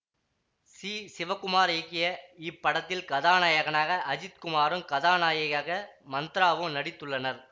C Sivakumar இயக்கிய இப்படத்தில் கதாநாயகனாக அஜித் குமாரும் கதாநாயகியாக மந்த்ராவும் நடித்துள்ளனர்